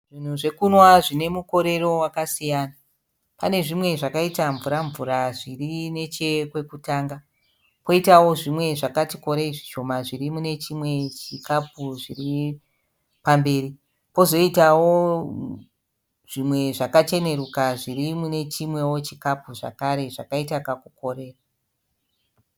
Zvinhu zvekunwa zvine mukorero wakasiyana, pane zvimwe zvakaita mvura mvura zviri nechekwekutanga, poitawo zvimwe zvakati korei zvishoma zviri munechimwe chikapu chiri pamberi. Pozoitawo zvimwe zvakacheneruka zviri mune chimwewo chikapu zvakare zvakaita kakukorera.